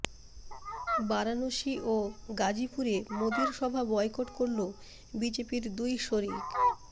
বারাণসী ও গাজিপুরে মোদীর সভা বয়কট করল বিজেপির দুই শরিক